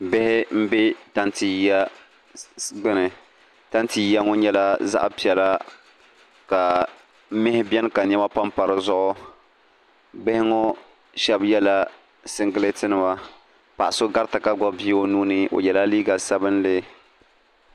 bihi m-be tanti yiya gbuni tanti yiya ŋɔ nyɛla zaɣ' piɛla ka mihi beni ka nema pampa di zuɣu bihi ŋɔ shɛba yɛla siŋgilɛtinima paɣa so garita ka gbubi bia o nuu ni o yɛla liiga sabilinli